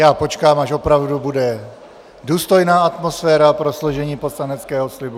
Já počkám, až opravdu bude důstojná atmosféra pro složení poslaneckého slibu...